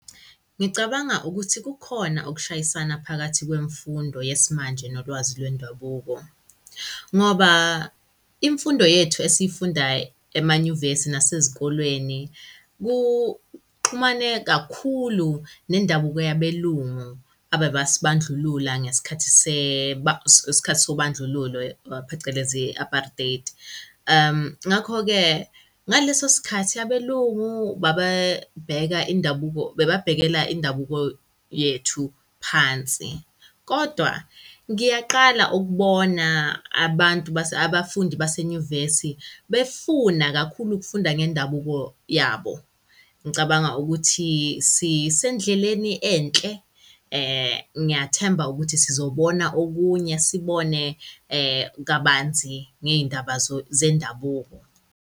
Ngicabanga ukuthi kukhona ukushayisana phakathi kwemfundo yesimanje nolwazi lwendabuko. Ngoba imfundo yethu esiyifunda emanyuvesi nasezikolweni kuxhumane kakhulu nendabuko yabelungu abebasibandlulula ngesikhathi ngesikhathi sobandlululo phecelezi apartheid. Ngakho-ke ngaleso sikhathi abelungu babebheka indabuko babebhekela indabuko yethu phansi. Kodwa ngiyaqala ukubona abantu abafundi basenyuvesi befuna kakhulu ukufunda ngendabuko yabo. Ngicabanga ukuthi sisendleleni enhle ngiyathemba ukuthi sizobona okunye sibone kabanzi ngey'ndaba zendabuko.